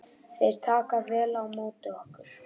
Þeir taka vel á móti okkur